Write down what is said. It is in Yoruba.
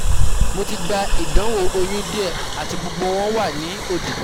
Mo ti gba idanwo oyun die ati gbogbo won wa ni odi